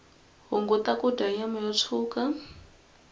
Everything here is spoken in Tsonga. hunguta kudya nyama yo tshuka